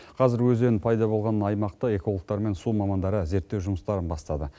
қазір өзен пайда болған аймақта экологтар мен су мамандары зерттеу жұмыстарын бастады